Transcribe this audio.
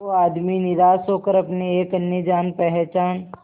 वो आदमी निराश होकर अपने एक अन्य जान पहचान